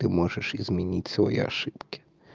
ты можешь изменить свои ошибки